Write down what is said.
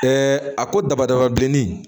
a ko dabadaba bilenni